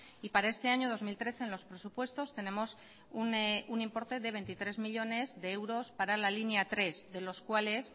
y para este año dos mil trece en los presupuestos tenemos un importe de veintitrés millónes de euros para la línea tres de los cuales